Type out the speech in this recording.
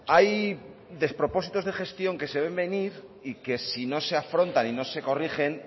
hay despropósitos de gestión que se ven venir y que si no se afrontan y no se corrigen